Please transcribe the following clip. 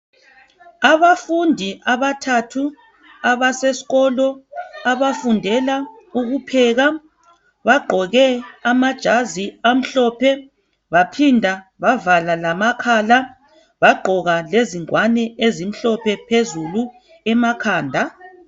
Abafundi athathu abasesikolo abafundela ukupheka bagqoke amajazi amhlophe baphinda bavala lamakhala bagqoka lengwane ezimhlophe phezulu emakhanda